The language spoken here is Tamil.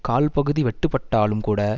கால் பகுதி வெட்டுபட்டாலும் கூட